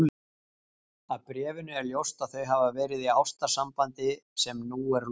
Af bréfinu er ljóst að þau hafa verið í ástarsambandi sem nú er lokið.